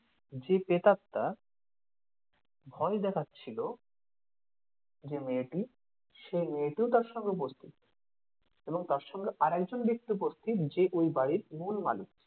যে প্রেতাত্মা ভয় দেখাচ্ছিল যে মেয়েটি সেই মেয়েটিও তার সঙ্গে উপস্থিত এবং তার সঙ্গে আরেকজন ব্যক্তি উপস্থিত যে ওই বাড়ির মূল মালিক